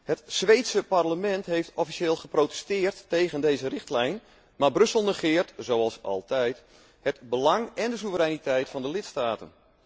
Het Zweedse parlement heeft officieel geprotesteerd tegen deze richtlijn, maar Brussel negeert, zoals altijd, het belang en de soevereiniteit van de lidstaten.